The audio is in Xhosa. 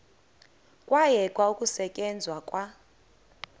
kwayekwa ukusetyenzwa kwa